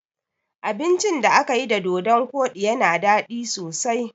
Abincin da akayi da dodon koɗi yana daɗi sosai